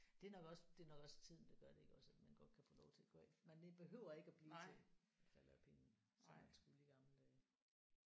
Det er nok også det er nok også tiden der gør det iggås at man godt kan få lov til at gå af man behøver ikke at blive til man falder af pinden som man skulle i gamle dage